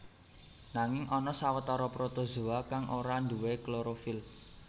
Nanging ana sawetara protozoa kang ora nduwé klorofil